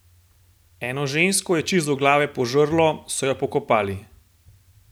Eno žensko je čist do glave požrlo, so jo pokopali!